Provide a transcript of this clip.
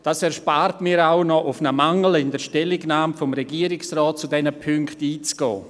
Dies erspart mir auch, auf einen Mangel in der Stellungnahme des Regierungsrates zu diesen Punkten einzugehen.